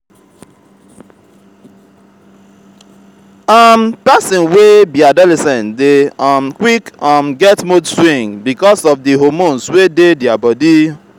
um persin wey be adolescent de um qick um get mood swing because of di hormones wey dey their body